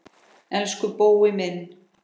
Elsku Bói minn.